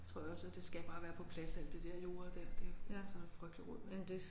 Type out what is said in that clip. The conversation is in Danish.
Det tror jeg også og det skal bare være på plads alt det der jo og det der ellers er det noget frygtligt rod